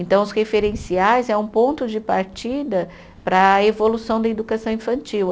Então, os referenciais é um ponto de partida para a evolução da educação infantil.